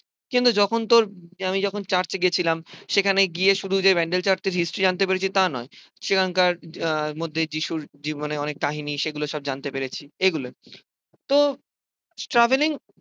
কিন্তু যখন তোর আমি যখন চার্চে গিয়েছিলাম সেখানে গিয়ে শুধু যে ব্যান্ডেল চার্চের হিস্ট্রি জানতে পেরেছি তা নয়, সেখানকার আহ মধ্যে যীশুর জীবনে অনেক কাহিনী সেইগুলো সব জানতে পেরেছি এগুলোই। তো ট্রাভেলিং